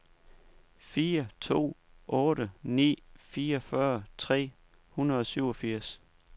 fire to otte ni fireogfyrre tre hundrede og syvogfirs